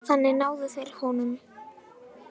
Þannig náðu þeir honum